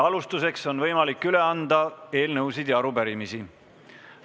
Alustuseks on võimalik üle anda eelnõusid ja arupärimisi.